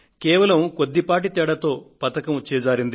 పతకం కొద్దిపాటి తేడాతో చిక్కకుండా పోయింది